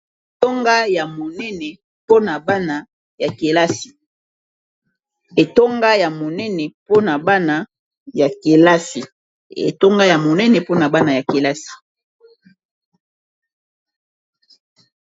Etonga ya monene mpona bana ya kelasi.